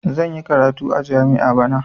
Zan yi karatu a jami'a bana.